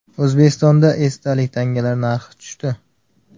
O‘zbekistonda esdalik tangalar narxi tushdi.